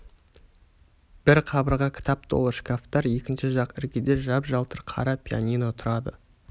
бір қабырға кітап толы шкафтар екінші жақ іргеде жап-жалтыр қара пианино тұрады